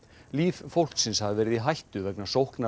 líf fólksins hafi verið í hættu vegna sóknar